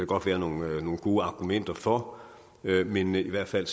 godt være nogle gode argumenter for men i hvert fald